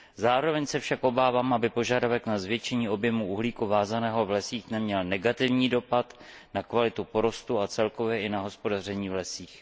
Zároveň se však obávám, aby požadavek na zvětšení objemu uhlíku vázaného v lesích neměl negativní dopad na kvalitu porostů a celkově i na hospodaření v lesích.